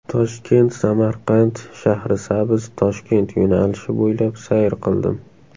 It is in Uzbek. Toshkent–Samarqand–Shahrisabz–Toshkent yo‘nalishi bo‘ylab sayr qildim.